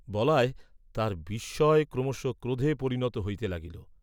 বলায় তাঁহার বিস্ময় ক্রমশঃ ক্রোধে পরিণত হইতে লাগিল।